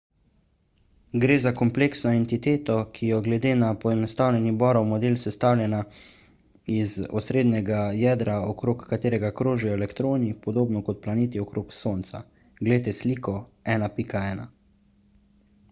gre za kompleksno entiteto ki je glede na poenostavljeni bohrov model sestavljena iz osrednjega jedra okrog katerega krožijo elektroni podobno kot planeti okrog sonca – glejte sliko 1.1